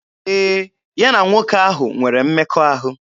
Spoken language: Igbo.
Ee, ya na nwoke ahụ nwere mmekọahụ.